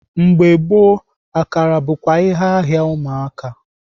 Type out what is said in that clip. Mgbe gboo, akara bụkwa ihe ahịa ụmụaka.